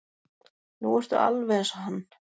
Nú ertu alveg eins og hann.